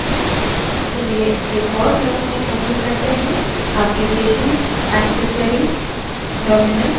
चलिए एक और terminal open करते हैं application> accessories> terminal